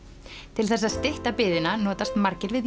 til þess að stytta biðina notast margir við